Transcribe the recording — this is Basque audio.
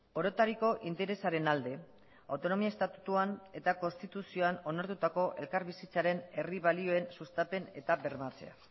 orotariko interesaren alde autonomia estatutuan eta konstituzioan onartutako elkarbizitzaren herri balioen sustapen eta bermatzea